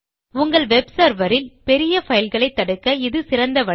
உங்கள் web server இல் பெரியபைல்களை தடுக்க இது சிறந்த வழி